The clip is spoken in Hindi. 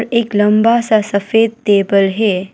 एक लंबा सा सफेद टेबल है।